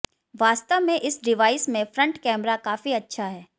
वास्तव में इस डिवाइस में फ्रंट कैमरा काफी अच्छा है